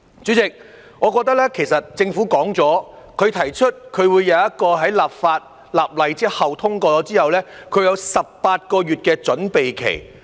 主席，其實政府已提出，在立法後或《條例草案》通過後，將有18個月的準備期。